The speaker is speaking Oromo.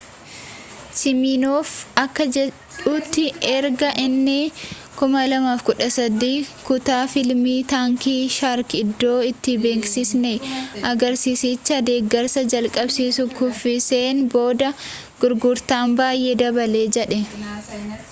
siminoof akka jedhutti erga inni 2013 kutaa fiilmii taankii shaark iddoo itti beeksisni agarsiisichaa deggersa jalqabsiisuu kuffise'en booda gurgurtaan baayyee dabale jedhe